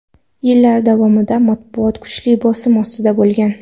Yillar davomida matbuot kuchli bosim ostida bo‘lgan.